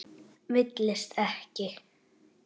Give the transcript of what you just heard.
Villist ekki!